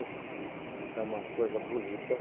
Enfim, é uma coisa bonita.